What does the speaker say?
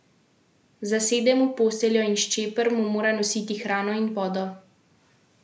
Zasede mu posteljo in Ščeper mu mora nositi hrano in vodo.